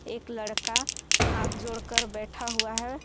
एक लड़का हाथ जोड़कर बैठा हुआ है।